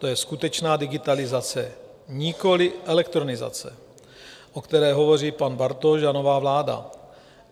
To je skutečná digitalizace, nikoli elektronizace, o které hovoří pan Bartoš a nová vláda.